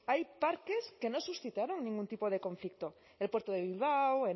hay parques que no suscitaron ningún tipo de conflicto el puerto de bilbao